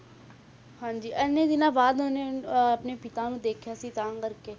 ਹਾਂਜੀ ਇੰਨੇ ਦਿਨਾਂ ਬਾਅਦ ਉਹਨੇ ਅਹ ਆਪਣੇ ਪਿਤਾ ਨੂੰ ਦੇਖਿਆ ਸੀ ਤਾਂ ਕਰਕੇ